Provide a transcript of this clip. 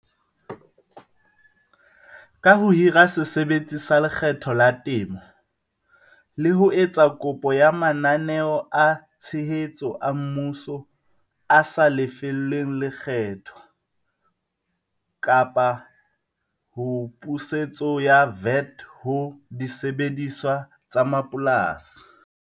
Ka ho hira se sebetsi sa lekgetho la temo le ho etsa kopo ya mananeo a tshehetso a mmuso a sa lefelleng lekgetho kapa ho pusetso ya VAT ho disebediswa tsa mapolasi.